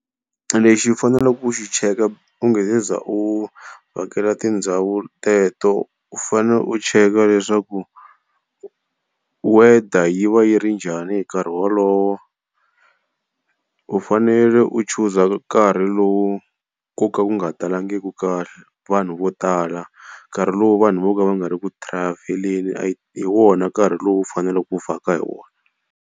Lexi u faneleke ku xi cheka u nge se za u hakela tindhawu teto. U fanele u cheka leswaku weather yi va yi ri njhani hi nkarhi wolowo. U fanele u chuza karhi lowu koka ku nga talangiki kahle, vanhu vo tala nkarhi lowu vanhu vo ka va nga ri ku travel-eleni hi wona nkarhi lowu u fanele u vhaka hi wona.